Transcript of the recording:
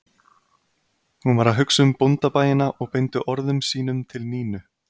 Hún var að hugsa um bóndabæina og beindi orðum sínum til Nínu